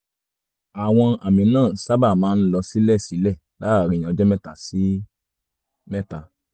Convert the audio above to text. àwọn àmì náà sábà máa ń lọ sílẹ̀ sílẹ̀ láàárín ọjọ́ mẹ́ta sí mẹ́ta